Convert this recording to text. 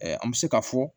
an bɛ se k'a fɔ